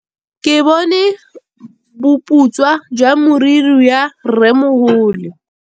Ke bone boputswa jwa meriri ya rrêmogolo.